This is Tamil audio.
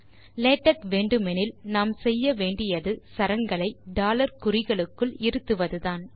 லேடக் வேண்டுமெனில் நாம் செய்ய வேண்டியது சரங்களை குறிகளுக்குள் இருத்துவதுதான்